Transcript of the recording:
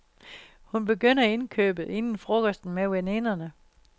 Hun begynder indkøbet inden frokosten med veninderne.